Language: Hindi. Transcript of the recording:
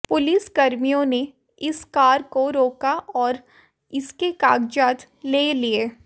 पुलिसकर्मियों ने इस कार को रोका और उसके कागजात ले लिये